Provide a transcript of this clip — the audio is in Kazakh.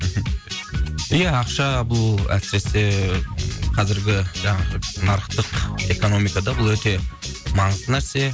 ия ақша бұл әсіресе қазіргі жаңағы нарықтық экономикада бұл өте маңызды нәрсе